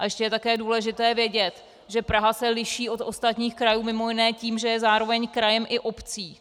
A ještě je také důležité vědět, že Praha se liší od ostatních krajů mimo jiné tím, že je zároveň krajem i obcí.